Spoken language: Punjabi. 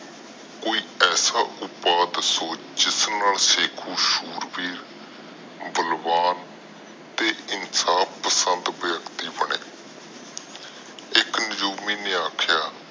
ਕੋਈ ਐਸਾ ਉਪਾਏ ਦਸੋ ਜਿਸਨਾਲ ਸਿਕਕੁ ਵਾਡਾ ਹੋ ਕੇ ਸੁਰ ਬੀਰ ਬਲਵਾਨ ਬਣੇ ਤੇ ਇਨਸਾਫ ਪਸੰਦ ਵਿਅਕਤੀ ਬਣੇ ਇਕ ਨੇ ਆਖਿਆ